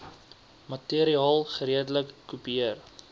materiaal geredelik kopieer